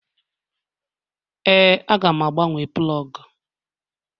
Ee, Aga m agbanwe plọg.